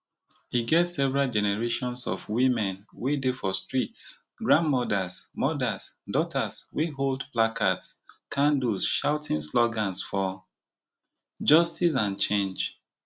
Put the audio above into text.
e get several generations of women wey dey for streets grandmothers mothers daughters wey hold placards candles shouting slogans for justice and change